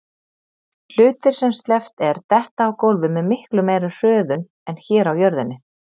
Hlutir sem sleppt er detta á gólfið með miklu meiri hröðun en hér á jörðinni.